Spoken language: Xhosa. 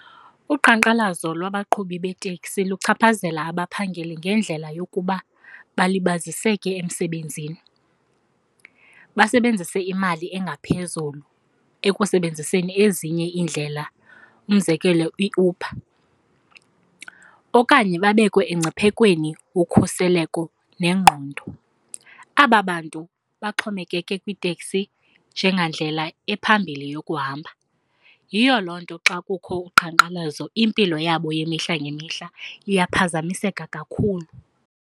Uqhankqalazo lwabaqhubi beeteksi luchaphazela abaphangeli ngendlela yokuba balibaziseke emsebenzini, basebenzise imali engaphezulu ekusebenziseni ezinye iindlela, umzekelo iUber, okanye babekwe engciphekweni ukhuseleko nengqondo. Aba bantu baxhomekeke kwiiteksi njengandlela ephambili yokuhamba, yiyo loo nto xa kukho uqhankqalazo impilo yabo yemihla ngemihla iyaphazamiseka kakhulu.